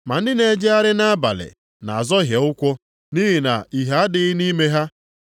Ma ndị na-ejegharị nʼabalị na-azọhie ụkwụ, nʼihi na ìhè adịghị nʼime ha.”